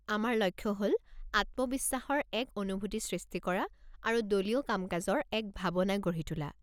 আমাৰ লক্ষ্য হ'ল আত্মবিশ্বাসৰ এক অনুভূতি সৃষ্টি কৰা আৰু দলীয় কামকাজৰ এক ভাবনা গঢ়ি তোলা।